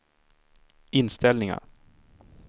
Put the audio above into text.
inställningar